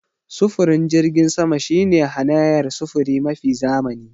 Sufurin jirgin sama shine hanayar sufuri mafi zamani.